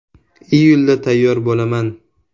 Iyulda tayyor bo‘laman.